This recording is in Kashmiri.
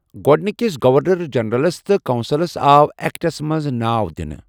گۄڈٕنِکس گورنر جنرلس تہٕ کونسلس آو اٮ۪کٹس منٛز ناو دِنہٕ۔